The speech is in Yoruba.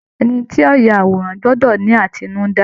Ẹni tí yóò ya àwòrán gbọ́dọ̀ ni àtinúdá